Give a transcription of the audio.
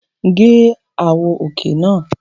Gé àwọ̀ òkè náà!